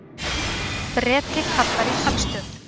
Breti kallar í talstöð.